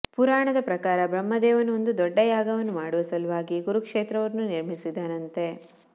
ಪುರಾಣದ ಪ್ರಕಾರ ಬ್ರಹ್ಮದೇವನು ಒಂದು ದೊಡ್ಡ ಯಾಗವನ್ನು ಮಾಡುವ ಸಲುವಾಗಿ ಕುರುಕ್ಷೇತ್ರವನ್ನು ನಿರ್ಮಿಸಿದನಂತೆ